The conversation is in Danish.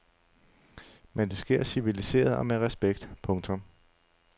Men det sker civiliseret og med respekt. punktum